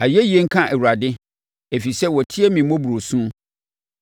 Ayɛyie nka Awurade, ɛfiri sɛ watie me mmɔborɔ su.